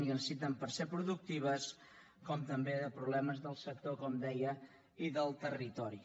i que necessiten per ser productives com també de problemes del sector com deia i del territori